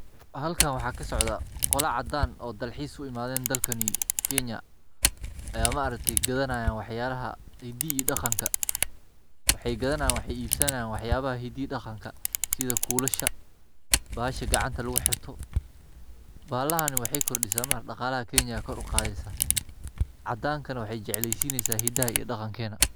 Xalkan waxa kasocda, qola cadan oo dalxis uimaden dalkani kenya, ayan maarakte gadaniyan waxyalaxa hidi iyo daganka, waxa gadanayan waxay ibsanayan waxyalaxa hidi iyo daganka, sida kulasha, baxasha gacanta laguxirto, baxalaxani waxay kordisa maarakte daqalaxa kenya ayay kor uqadeysa, cadanka na waxay jecelyixin hida iyo dagankena.